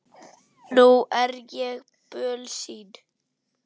Nú er ég bölsýn.